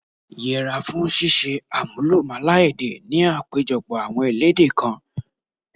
Yẹra fún ṣíṣe àmúlùmálà èdè ni àpéjọpọ̀ àwọn elédè kan.